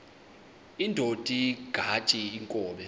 indod ingaty iinkobe